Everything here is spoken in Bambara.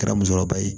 Kɛra musokɔrɔba ye